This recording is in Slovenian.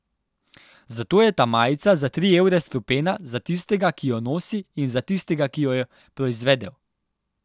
Zato je ta majica za tri evre strupena za tistega, ki jo nosi, in za tistega, ki jo je proizvedel.